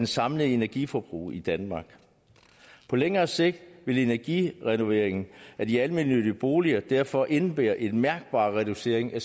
samlede energiforbrug i danmark på længere sigt vil energirenoveringen af de almennyttige boliger derfor indebære en mærkbar reducering af